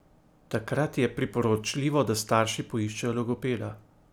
Takrat je priporočljivo, da starši poiščejo logopeda.